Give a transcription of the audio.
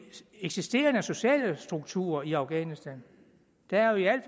eksisterende sociale strukturer i afghanistan der er jo i